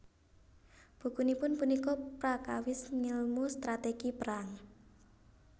Bukunipun punika prakawis ngèlmu strategi perang